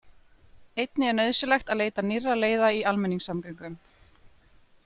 Einnig er nauðsynlegt að leita nýrra leiða í almenningssamgöngum.